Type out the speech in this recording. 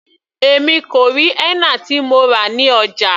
Èmi kò rí henna tí mo rà ní ọjà.